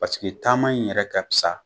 taama in yɛrɛ ka pisa